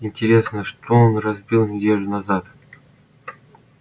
интересно что он разбил неделю назад